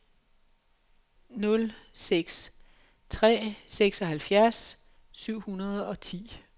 nul nul seks tre seksoghalvfjerds syv hundrede og ti